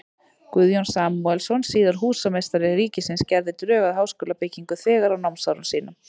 Guðjón Samúelsson, síðar húsameistari ríkisins, gerði drög að háskólabyggingu þegar á námsárum sínum.